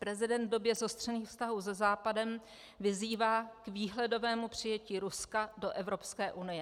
Prezident v době zostřených vztahů se západem vyzývá k výhledovému přijetí Ruska do Evropské unie.